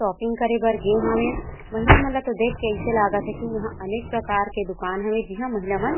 shopping करे भर गे हावे महिला मन तो देख के ऐसा लगत है की यहाँ अनेक प्रकार के दूकान हवे जिहा महिला मन--